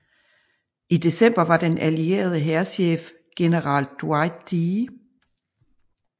I december var den allierede hærchef general Dwight D